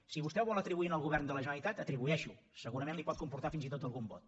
si vostè ho vol atribuir al govern de la generalitat atribueixi ho segurament li pot comportar fins i tot algun vot